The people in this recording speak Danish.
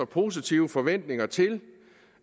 positive forventninger til